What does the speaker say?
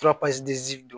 don